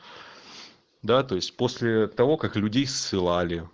да то есть после того как людей ссылали